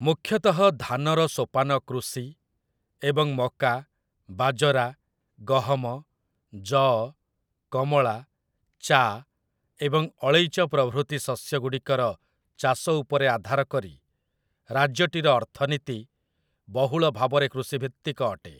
ମୁଖ୍ୟତଃ ଧାନର ସୋପାନ କୃଷି ଏବଂ ମକା, ବାଜରା, ଗହମ, ଯଅ, କମଳା, ଚା' ଏବଂ ଅଳେଇଚ ପ୍ରଭୃତି ଶସ୍ୟଗୁଡ଼ିକର ଚାଷ ଉପରେ ଆଧାରକରି, ରାଜ୍ୟଟିର ଅର୍ଥନୀତି ବହୁଳ ଭାବରେ କୃଷିଭିତ୍ତିକ ଅଟେ ।